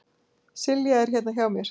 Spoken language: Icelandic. Silja er hérna hjá mér.